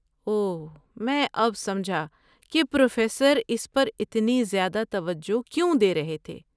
اوہ، میں اب سمجھا کہ پروفیسر اس پر اتنی زیادہ توجہ کیوں دے رہے تھے۔